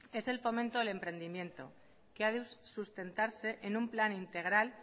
es el fomento del emprendimiento que ha de sustentarse en un plan integral